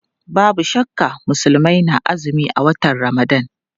Babu shakka Musulmai na azumi a watan Ramadan.